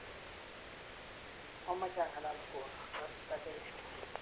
mameche ang'alal nguni, akase takirir